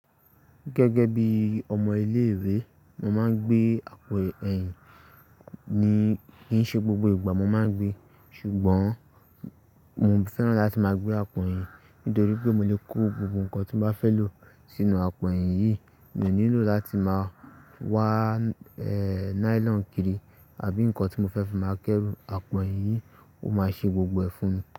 Gẹ́gẹ́ bí ọmọ ilé-ìwé, mo máa ń gbé àpò ẹ̀yìn ni, kì í ṣe gbogbo ìgbà mo máa ń gbé. Ṣùgbọ́n mo fẹ́ràn láti máa gbé àpò ẹ̀yìn nítorí pé mo lè kó gbogbo nǹkan tí mo bá fẹ́ lò sínú àpò ẹ̀yìn yìí. Mi ò nílò láti máa wa nailon kiri àbí nǹkan tí mo fẹ́ fi máa kẹ́rù. Àpò eyin yìí ó máa ṣe gbogbo ẹ̀ fún mi.